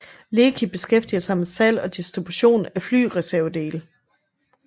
Leki beskæftiger sig med salg og distribution af flyreservedele